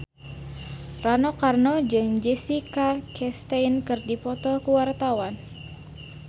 Rano Karno jeung Jessica Chastain keur dipoto ku wartawan